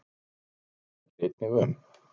Hann sækir einnig um.